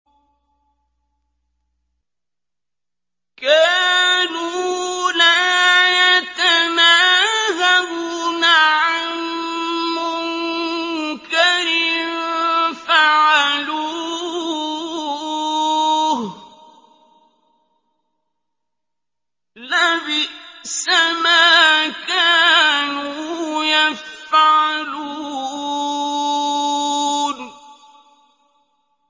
كَانُوا لَا يَتَنَاهَوْنَ عَن مُّنكَرٍ فَعَلُوهُ ۚ لَبِئْسَ مَا كَانُوا يَفْعَلُونَ